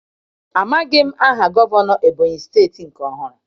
Amaghị m aha gọvanọ Ebony steeti nke ọhụrụ.